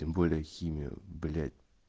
тем более химия блять